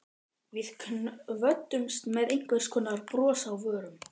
Við kvöddumst með einhvers konar bros á vörum.